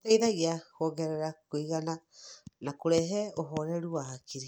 gũteithagia kuongerera kũiganĩra na kũrehe ũhoreru wa hakiri.